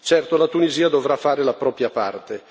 Certo, la Tunisia dovrà fare la propria parte.